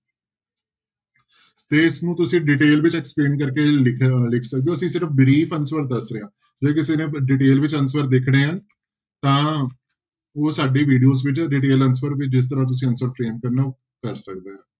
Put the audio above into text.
ਤੇ ਇਸਨੂੰ ਤੁਸੀਂ detail ਵਿੱਚ explain ਕਰਕੇ ਲਿਖ ਸਕਦੇ ਹੋ ਅਸੀਂ ਸਿਰਫ਼ answer ਦੱਸ ਰਿਹਾਂ, ਜੇ ਕਿਸੇ ਨੇ detail ਵਿੱਚ answer ਦੇਖਣੇ ਹੈ ਤਾਂ ਉਹ ਸਾਡੀ videos ਵਿੱਚ detail answer ਵੀ ਜਿਸ ਤਰ੍ਹਾਂ ਤੁਸੀਂ answer ਕਰ ਸਕਦਾ ਹੈ।